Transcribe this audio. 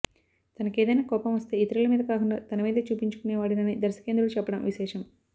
తనకేదైనా కోపం వస్తే ఇతరుల మీద కాకుండా తనమీదే చూపించుకునేవాడినని దర్శకేంద్రుడు చెప్పడం విశేషం